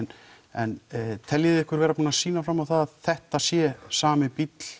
en teljið þið ykkur vera búin að sýna fram á það að þetta sé sami bíll